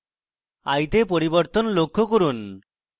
eye তে পরিবর্তন লক্ষ্য করুন